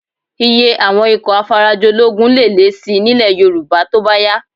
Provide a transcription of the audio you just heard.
Iye àwọn ikọ̀ afarajológun lè lé síi nílẹ̀ Yorùbá tó bá yá